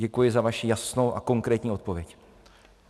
Děkuji za vaši jasnou a konkrétní odpověď.